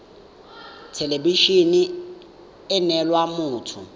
thelebi ene e neela motho